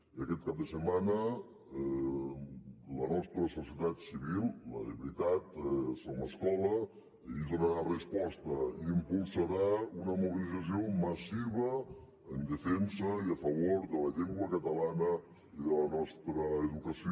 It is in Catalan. i aquest cap de setmana la nostra societat civil la de veritat som escola hi donarà resposta i impulsarà una mobilització massiva en defensa i a favor de la llengua catalana i de la nostra educació